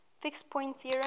fixed point theorem